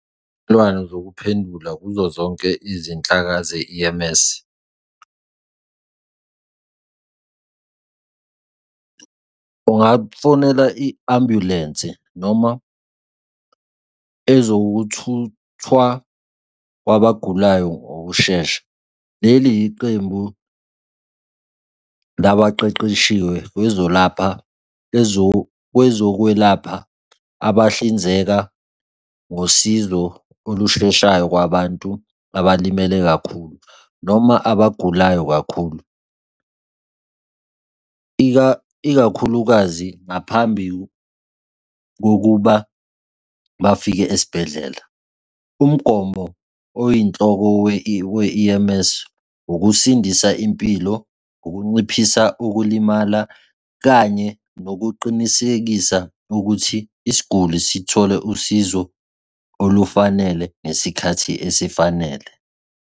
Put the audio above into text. Izivumelwazo zokuphendula kuzo zonke izinhlaka ze-E_M_S. Ungafonela i-ambulensi noma ezokuthuthwa kwabagulayo ngokushesha. Leli yiqembu labaqeqeshiwe lwezolapha kwezokwelapha abahlinzeka ngosizo olusheshayo kwabantu abalimele kakhulu noma abagulayo kakhulu, ikakhulukazi ngaphambi kokuba bafike esibhedlela. Umgomo oyinhloko we-E_M_S, ukusindisa impilo, ukunciphisa ukulimala, kanye nokuqinisekisa ukuthi isiguli sithole usizo olufanele ngesikhathi esifanele.